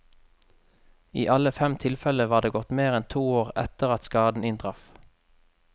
I alle fem tilfelle var det gått mer enn to år etter at skaden inntraff.